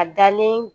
A dalen